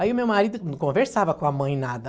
Aí o meu marido não conversava com a mãe nada.